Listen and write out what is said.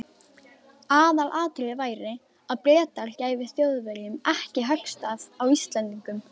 Aðalatriðið væri, að Bretar gæfu Þjóðverjum ekki höggstað á Íslendingum.